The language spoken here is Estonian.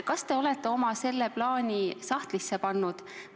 Kas te olete oma selle plaani sahtlisse pannud?